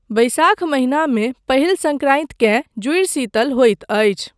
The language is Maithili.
वैशाख महिनामे पहिल संक्रान्तिकेँ जूड़शीतल होइत अछि।